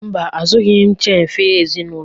Mba, azụrụghị m chin fir ezinụlọ